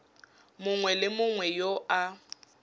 mongwe le mongwe yo a